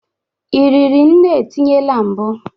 Ị riri nne etinyela mbụ?